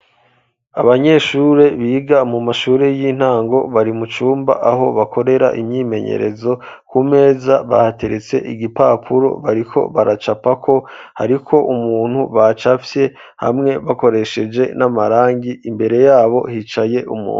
Abanyeshure biga mu mashure y'intango bari mu cumba aho bakorera imyimenyerezo, ku meza bahateretse igipapuro bariko baracapako hariko umuntu bacapfye hamwe bakoresheje n'amarangi imbere yabo hicaye umuntu.